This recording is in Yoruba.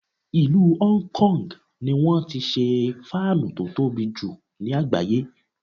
Ìlú Hong Kong ni wọ́n ti ṣe fáánù tó tobì jù ní àgbáyé.